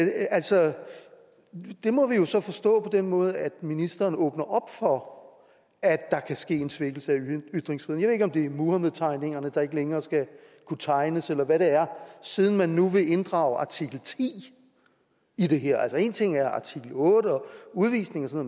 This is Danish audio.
altså det må vi jo så forstå på den måde at ministeren åbner op for at der kan ske en svækkelse af ytringsfriheden ikke om det er muhammedtegningerne der ikke længere skal kunne tegnes eller hvad det er siden man nu vil inddrage artikel ti i det her altså én ting er artikel otte om udvisning og